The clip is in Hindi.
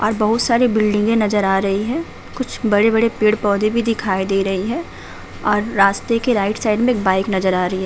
आज बहोत सारी बिल्डिंगें नज़र आ रही हैं। कुछ बड़े - बड़े पेड़ - पौधे भी दिखाई दे रही हैं और रास्ते के राइट साइड में एक बाइक नज़र आ रही है।